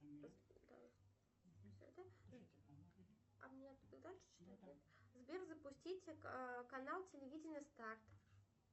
сбер запустить канал телевидения старт